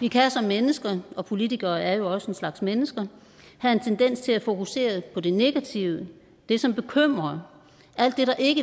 vi kan som mennesker og politikere er jo også en slags mennesker have en tendens til at fokusere på det negative det som bekymrer alt det der ikke